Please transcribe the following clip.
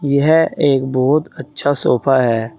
यह एक बहुत अच्छा सोफा है।